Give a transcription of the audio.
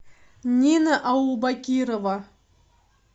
нина аубакирова